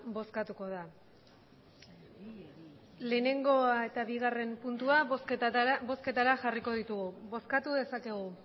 bozkatuko da lehenengoa eta bigarren puntua bozketara jarriko ditugu bozkatu dezakegu